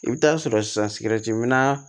I bɛ taa sɔrɔ sisan sigɛriti minna